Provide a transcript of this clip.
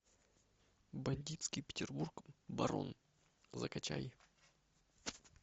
бандитский петербург барон закачай